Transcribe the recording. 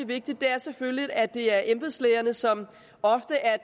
vigtigt er selvfølgelig at det er embedslægerne som ofte er